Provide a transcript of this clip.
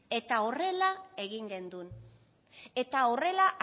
horrela egin gendun eta horrela